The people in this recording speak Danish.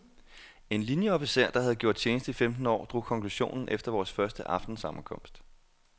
En linjeofficer, der havde gjort tjeneste i femten år, drog konklusionen efter vores første aftensammenkomst.